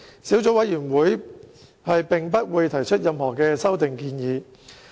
小組委員會並不會提出任何修正案。